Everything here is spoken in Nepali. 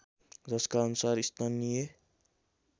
जसका अनुसार स्थानीय